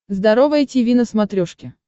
здоровое тиви на смотрешке